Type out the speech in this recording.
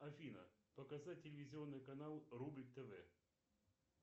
афина показать телевизионный канал рубль тв